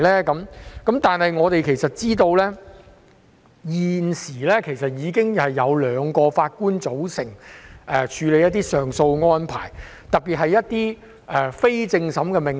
但是，其實我們也知道，現時已經有兩名法官組成處理上訴案件的安排，特別是針對一些非正審命令。